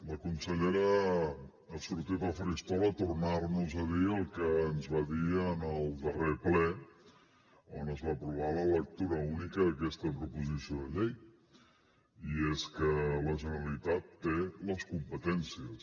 la consellera ha sortit al faristol a tornar nos a dir el que ens va dir en el darrer ple on es va aprovar la lectura única d’aquesta proposició de llei i és que la generalitat té les competències